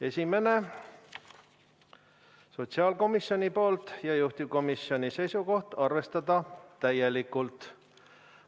Esimene on sotsiaalkomisjonilt, juhtivkomisjoni seisukoht: arvestada täielikult.